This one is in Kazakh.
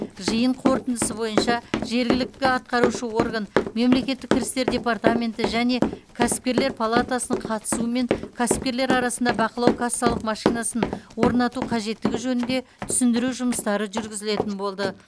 жиын қорытындысы бойынша жергілікті атқарушы орган мемлекеттік кірістер департаменті және кәсіпкерлер палатасының қатысуымен кәсіпкерлер арасында бақылау кассалық машинасын орнату қажеттігі жөнінде түсіндіру жұмыстары жүргізілетін болды